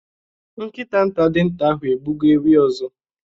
Nkita nta dịnta ahụ egbugo ewi ọzọ.